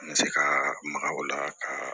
An bɛ se ka maka o la ka